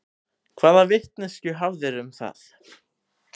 Hvaða vitneskju hafðirðu um það?